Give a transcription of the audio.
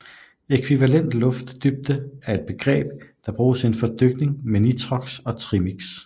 Ækvivalent luft dybde er et begreb der bruges inden for dykning med nitrox og trimix